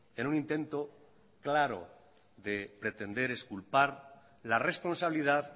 en un intento claro de pretender exculpar la responsabilidad